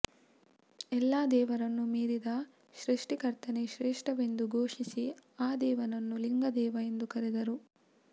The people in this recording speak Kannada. ಎಲ್ಲ ದೇವರನ್ನು ಮೀರಿದ ಸೃಷ್ಟಿಕರ್ತನೇ ಶ್ರೇಷ್ಠವೆಂದು ಘೋಷಿಸಿ ಆ ದೇವನನ್ನು ಲಿಂಗದೇವ ಎಂದು ಕರೆದರು